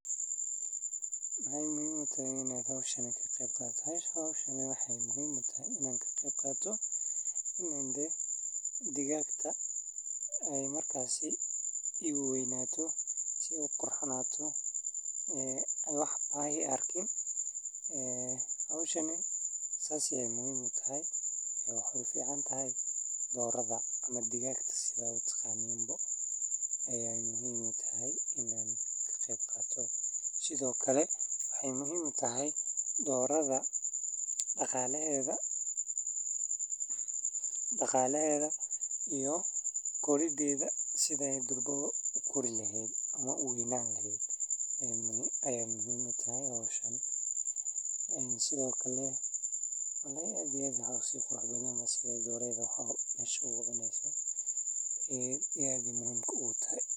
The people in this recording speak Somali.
Quudinta digaagga waa hawl muhiim ah oo saameyn weyn ku leh caafimaadka, korriinka, iyo wax-soo-saarka digaagga sida ukunta iyo hilibka. Digaagga waxay u baahan yihiin cunto isku dheelli tiran oo ay ka helaan borotiin, fiitamiino, macdano, iyo tamar si ay u kobcaan una noqdaan kuwo caafimaad qaba. Cuntada digaagga waxaa lagu diyaariyaa hadba nooca digaagga — tusaale ahaan, digaagga ukunta dhala iyo kuwa hilibka la beerto waxay leeyihiin quudin kala duwan. Waxaa caadi ahaan la siiyaa cuntooyinka sida galleyda shiidan, sarreen, soy, iyo quudin warshadaysan oo loo yaqaan.